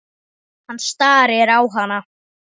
Hann starir á hana.